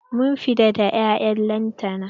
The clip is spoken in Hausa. Mun fita da 'ya'yan lantana.